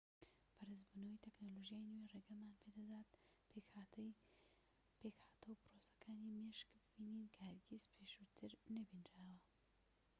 بەرزبوونەوەی تەکنەلۆژیای نوێ ڕێگەمان پێدەدات پێکهاتەو پرۆسەکانی مێشک ببینین کە هەرگیز پێشووتر نەبینراون